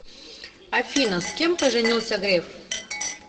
афина с кем поженился греф